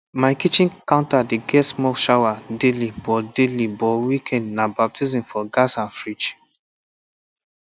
my kitchen counter dey get small shower daily but daily but weekend na baptism for gas and fridge